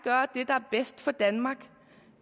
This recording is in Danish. at for danmark